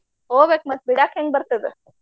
ಹೋಗ್ಬೇಕ್ ಮತ್ತ್ ಬಿಡಾಕ್ ಹೆಂಗ್ ಬರ್ತದ?